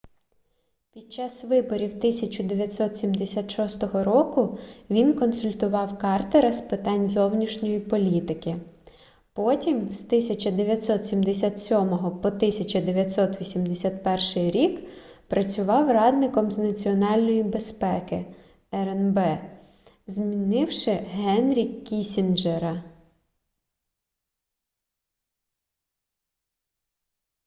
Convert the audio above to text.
під час виборів 1976 року він консультував картера з питань зовнішньої політики потім з 1977 по 1981 рік працював радником з національної безпеки рнб змінивши генрі кіссінджера